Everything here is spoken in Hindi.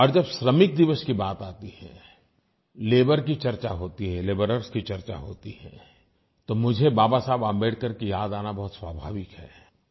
और जब श्रमिक दिवस की बात आती है लेबर की चर्चा होती है लेबरर्स की चर्चा होती है तो मुझे बाबा साहब अम्बेडकर की याद आना बहुत स्वाभाविक है